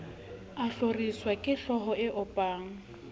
a hloriswa kehlooho e opang